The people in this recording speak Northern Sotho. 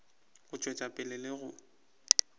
go tšwetša pele le go